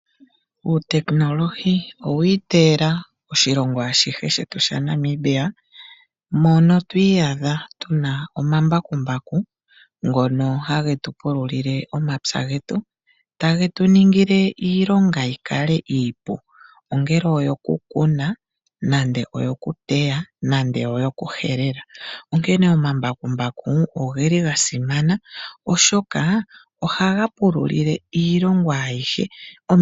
Uutekinolohi owa iteyela oshilongo ashihe shetu shaNamibia, mono twi iyadha tu na omambakumbaku ngono ha ge tu pululile omapya getu, tage tu ningile iilonga yi kale iipu, ongele oyo ku kuna, nande oyo ku teya, nande oyo ku helela. Onkene omambakumbaku oge li ga simana oshoka ohaga pululile iilongo ayihe.